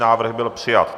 Návrh byl přijat.